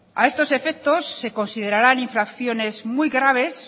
a estos efectos se considerarán infracciones muy graves